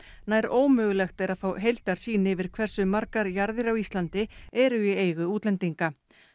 nær ómögulegt er að fá heildarsýn yfir hversu margar jarðir á Íslandi eru í eigu útlendinga